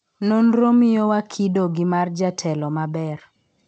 nonro miyo wa kido gi mar jatelo maber